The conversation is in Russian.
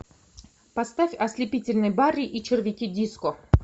поставь ослепительный барри и червяки диско